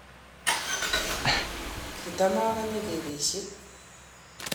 kitamakanye kebesie